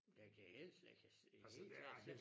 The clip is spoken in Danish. Jeg kan helst jeg kan se helt klart se